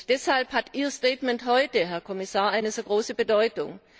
Deshalb hat Ihr Statement heute, Herr Kommissar, eine so große Bedeutung.